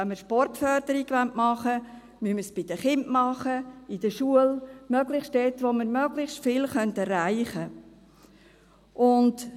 Wenn wir Sportförderung machen wollen, müssen wir es bei den Kindern tun, in der Schule, möglichst dort, wo wir möglichst viel erreichen können.